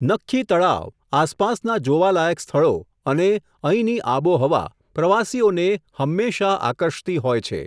નખ્ખી તળાવ, આસપાસના જોવા લાયક સ્થળો, અને, અહીંની આબોહવા, પ્રવાસીઓને, હંમેશા આકર્ષતી હોય છે.